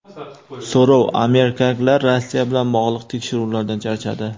So‘rov: amerikaliklar Rossiya bilan bog‘liq tekshiruvlardan charchadi.